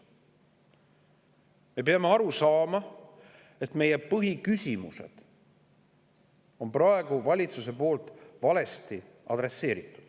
Me peame aru saama, et meie põhiküsimusi on valitsus praegu valesti adresseerinud.